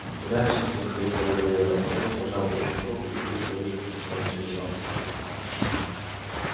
удачи тебе хрипло выговорил артём пожал отчиму руку и быстро вышел стесняясь своей слабости